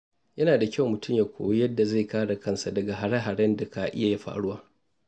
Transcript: Yana da kyau mutum ya koyi yadda zai kare kansa daga hare-haren da ka iya faruwa.